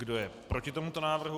Kdo je proti tomuto návrhu?